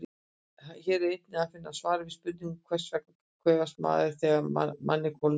Hér er einnig að finna svar við spurningunum: Hvers vegna kvefast maður þegar manni kólnar?